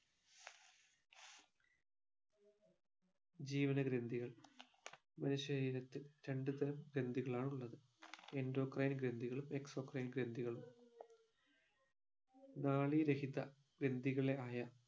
ജീവനഗ്രന്ഥികൾ മനുഷ്യ ശരീരത്ത് രണ്ടുതരാം ഗ്രന്ധികളാണ് ഉള്ളത് endocrine ഗ്രന്ധിക്കുകളും exocrine ഗ്രന്ഥികളും നാളീരഹിത ഗ്രംധികളെ ആയ